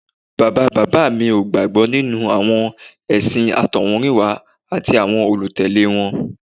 Bàbá bàbá mi ò gbàgbọ́ nínú àwọn ẹ̀sìn àtọ̀húnrìnwá àti àwọn olùtẹ̀lé wọn